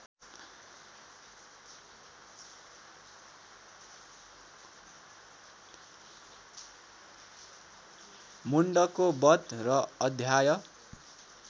मुण्डको बध र अध्याय